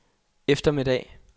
eftermiddag